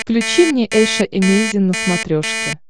включи мне эйша эмейзин на смотрешке